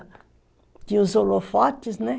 Tinha os holofotes, né?